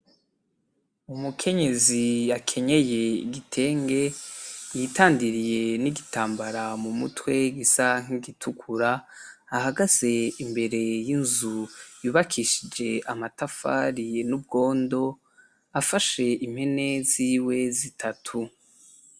Umukenyezi yakenyeye igitenge, yitandiriye n'igitambara mu mutwe gisa nk'igitukura, ahagaze imbere y'inzu yubakishije amatafari n'ubwondo, afashe impene ziwe zitatu.